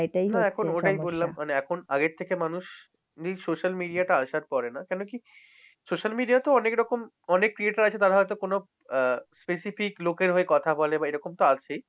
হ্যাঁ এখন ওটাই বললাম, মানে এখন আগের থেকে মানুষ social media তে আসার পরে না কেন কি social media তো অনেক রকম অনেক creator আছে তারা হয়ত কোনো আহ specific লোকের হয়ে কথা বলে বা এই রকমতো আছেই